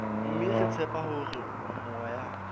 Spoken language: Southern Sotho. mme re tshepa hore moya